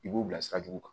I b'u bila sira jugu kan